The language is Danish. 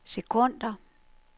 sekunder